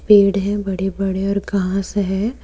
पेड़ हैं बड़े बड़े और घास है।